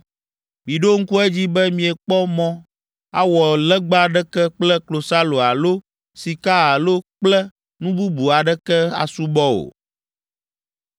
Miɖo ŋku edzi be miekpɔ mɔ awɔ legba aɖeke kple klosalo alo sika alo kple nu bubu aɖeke asubɔ o!